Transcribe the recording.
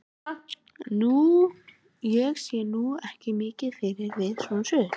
Ég sé nú ekki mikið fyndið við svona sögur.